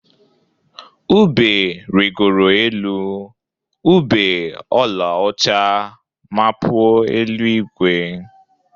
Ube rịgoro elu, ube ọlaọcha mapuo elu-igwe.